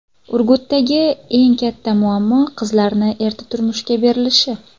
Urgutdagi eng katta muammo qizlarni erta turmushga berilishi.